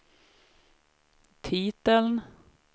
titeln